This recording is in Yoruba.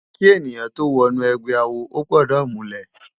Ki èniyán tó wò inú ègbè àwó ógbòdò múlè